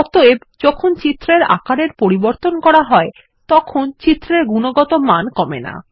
অতএব যখন চিত্রের আকারের পরিবর্তন করা হয় তখন চিত্রের গুণগত মান কমে না